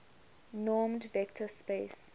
normed vector space